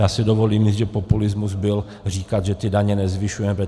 Já si dovolím říct, že populismus byl říkat, že ty daně nezvyšujeme.